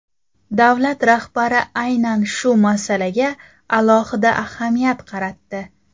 Davlat rahbari aynan shu masalaga alohida ahamiyat qaratdi.